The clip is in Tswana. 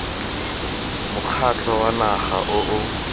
mokgatlho wa naga o o